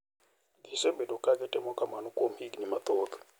Gisebedo ka gitimo kamano kuom higni mathoth,